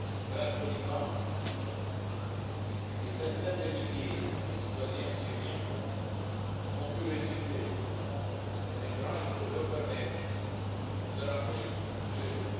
Grâce au Liban, des centaines de milliers de citoyens syriens ont pu résister, mais il faut maintenant leur permettre de rentrer chez eux.